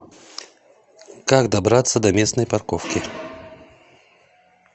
как добраться до местной парковки